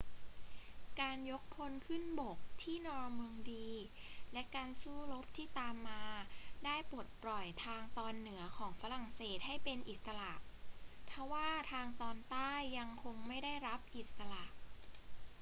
การยกพลขึ้นบกที่นอร์ม็องดีและการสู้รบที่ตามมาได้ปลดปล่อยทางตอนเหนือของฝรั่งเศสให้เป็นอิสระ ทว่าทางตอนใต้ยังคงไม่ได้รับอิสระ